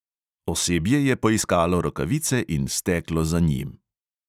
Osebje je poiskalo rokavice in steklo za njim.